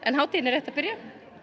hátíðin er rétt að byrja